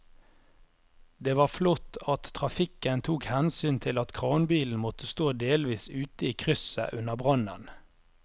Det var flott at trafikken tok hensyn til at kranbilen måtte stå delvis ute i krysset under brannen.